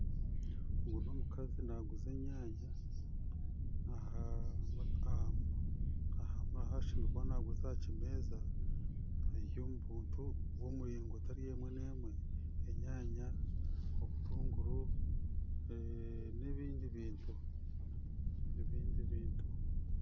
Ogu n'omukazi naguuza enyaanya naguriza aha kimeeza biri omu butu bw'emiringo etari emwe n'emwe enyaanya obutuunguru n'ebindi bintu